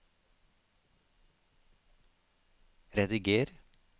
rediger